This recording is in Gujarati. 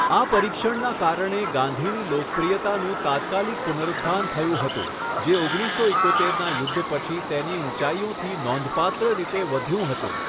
આ પરીક્ષણના કારણે ગાંધીની લોકપ્રિયતાનું તાત્કાલિક પુનરુત્થાન થયું હતું, જે ઓગણીસસો એકોતેરના યુદ્ધ પછી તેની ઊંચાઈઓથી નોંધપાત્ર રીતે વધ્યું હતું.